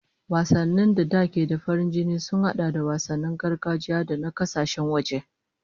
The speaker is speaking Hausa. Wasanni da da ke da farin jini sun hada da wasannin gargajiya da na kasashen waje